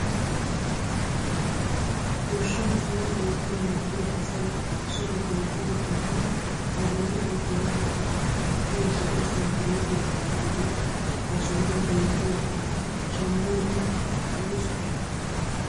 Goshshaan sure oottin mokkiyaa asay so giddon qumaa kattiidi a bolli gujjanawu maaddiyaa zo'o shunkuruutiyaa yaagiyooge ha sohuwaan beettiyaaga shamiyode woysu biree?